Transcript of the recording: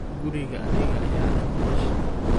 Kurigan aniga ayaleh, mamaqashe.